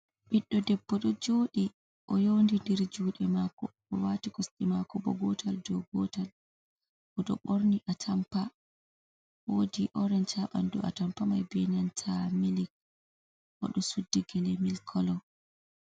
'Biɗɗo debbo d'o joodi. O d'o yoindindiri judi mako o wati kosti mako bo gotal dow gotal bo d'o borni a tampaaje; wodi oreenc haban do a tampa mai be nanta milik; od'o suddi gele milik kolo.